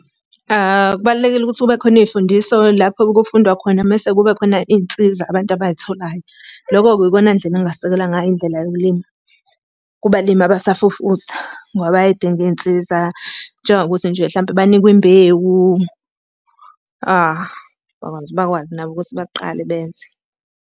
Kubalulekile ukuthi kube khona iy'mfundiso lapho kufundwa khona mese kube khona iy'nsiza abantu abay'tholayo. Loko-ke iyona ndlela engingasekela ngayo Indlela yokulima kubalimi abasafufusa. Ngoba bayay'dinga iy'nsiza, njengokuthi nje hlampe banikwe imbewu bakwazi, bakwazi nabo ukuthi baqale benze.